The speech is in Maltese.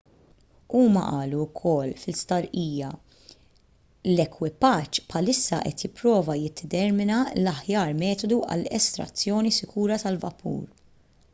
huma qalu wkoll fi stqarrija l-ekwipaġġ bħalissa qed jipprova jiddetermina l-aħjar metodu għall-estrazzjoni sikura tal-vapur